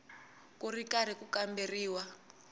ku ri karhi ku kamberiwa